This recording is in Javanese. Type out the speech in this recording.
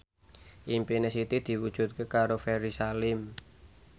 impine Siti diwujudke karo Ferry Salim